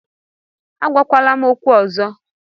Agwakwala m okwu ọzọ